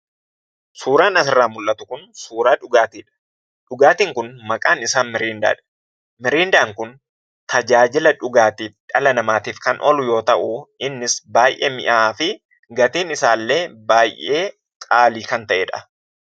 Suuraan asirraa mul'atu kun suuraa dhugaatiidha. Dhugaatiin kun maqaan isaa Miriindaa dha. Miriindaan kun tajaajila dhugaatii dhala namaatiif kan oolu yoo ta'u, innis baay'ee mi'aafi gatiin isaallee baay'ee qaalii kan ta'edha.